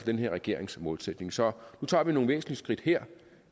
den her regerings målsætning så tager vi nogle væsentlige skridt her